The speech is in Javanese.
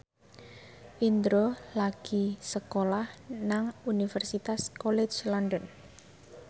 Indro lagi sekolah nang Universitas College London